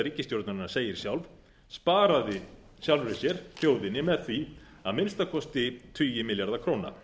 ríkisstjórnarinnar segir sjálf sparaði sjálfri sér þjóðinni með því að minnsta kosti tugi milljarða króna